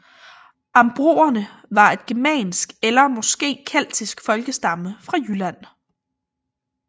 Ambronerne var et germansk eller måske keltisk folkestamme fra Jylland